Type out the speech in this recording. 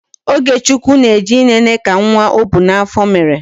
Ogechukwu na-eje ịlele ka nwa ọ bu n'afọ mere